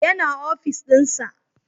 Ya na ofis dinsa